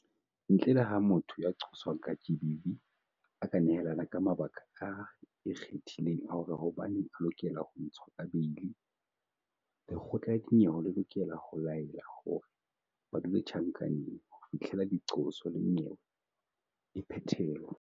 Ntle le ha motho ya qoswang ka GBV a ka nehelana ka mabaka a ikgethileng a hore hobaneng a lokela ho ntshwa ka beili, lekgotla la dinyewe le lokela ho laela hore ba dule tjhankaneng ho fihlela diqoso le nyewe e phethelwa.